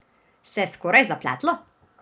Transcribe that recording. Se je skoraj zapletlo?